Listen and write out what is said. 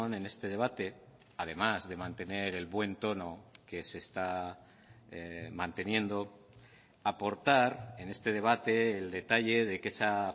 en este debate además de mantener el buen tono que se está manteniendo aportar en este debate el detalle de que esa